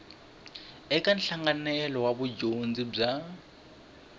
eka nhlanganelo wa vudyondzi bya